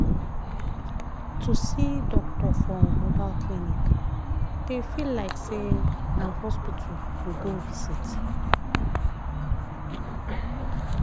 to see doctor for mobile clinic dey feel like say na hospital you go visit.